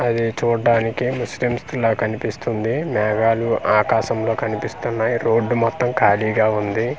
అది చూడ్డానికి ముస్లిమ్స్ దిలా కనిపిస్తుంది మేఘాలు ఆకాశంలో కనిపిస్తున్నాయ్ రోడ్డు మొత్తం ఖాళీగా ఉంది.